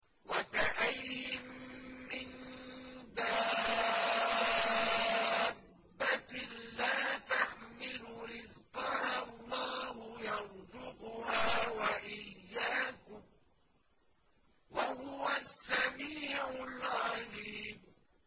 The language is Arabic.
وَكَأَيِّن مِّن دَابَّةٍ لَّا تَحْمِلُ رِزْقَهَا اللَّهُ يَرْزُقُهَا وَإِيَّاكُمْ ۚ وَهُوَ السَّمِيعُ الْعَلِيمُ